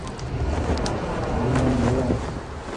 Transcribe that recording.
ален делон